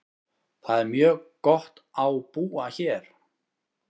Það er mjög gott á búa hér.